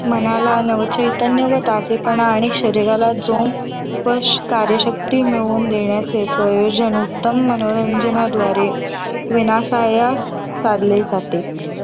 मनाला नव चैतन्य व ताजेपणा आणि शरीराला जोम व कार्यशक्ती मिळवून देण्याचे प्रयोजन, उत्तम मनोरंजनाद्वारे विनासायास साधले जाते.